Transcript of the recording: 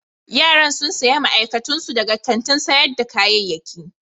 Yaran sun sayi ma'aikatun su daga kantin sayar da kayayyaki.